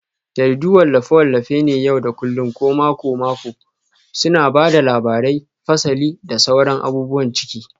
Jaridu wallafe-wallafe ne na yau da kullun ko mako-mako suna ba da labarai, fasali, da sauran abubuwan ciki.